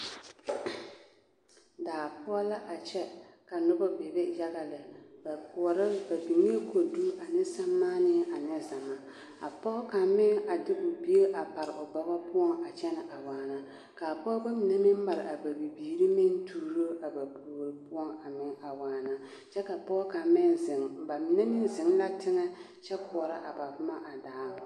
Daa poɔ la a kyɛ ka nobɔ bebe yaga lɛ, ba koɔroŋ, ba biŋaa kodu ane sɛmaanee ane zama, a pɔge kaŋ meŋ a de o bie a pare o bɔgɔ poɔ a kyɛnɛ a waana, k'a pɔgebɔ mine meŋ mare a bibiiri meŋ tuuro a ba puori poɔŋ meŋ a waana kyɛ ka pɔge kaŋ meŋ zeŋ, bamine meŋ zeŋ la teŋɛ kyɛ koɔrɔ a ba boma a daaŋ.